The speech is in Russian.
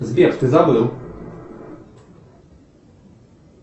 сбер ты забыл